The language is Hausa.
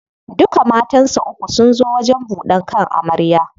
Duka matansa uku sun zo wajen buɗan kan amarya.